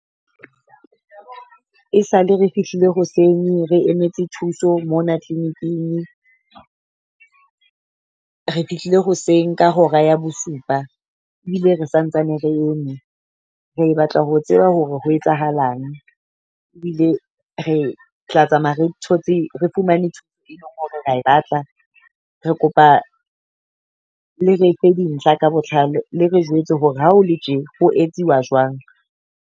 E sale re fihlile hoseng re emetse thuso mona clinic-ing, re fihlile hoseng ka hora ya bosupa. Ebile re santsane re e me, re batla ho tseba hore ho etsahalang. Ebile re tla tsamaya re thotse re fumane e leng hore ra e batla. Re kopa le re fe di ntlha ka botlalo. Le re jwetse hore ha o le tje ho etsuwa jwang.